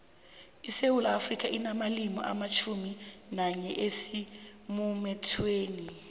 isewula afrika inamalimi amatjhumi nanye asemuthethweni